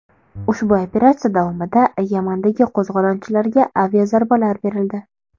Ushbu operatsiya davomida Yamandagi qo‘zg‘olonchilarga aviazarbalar berildi.